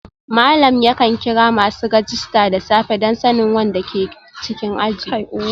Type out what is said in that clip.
Malam yakan kira masu rajista da safe don sanin wanda ke cikin aji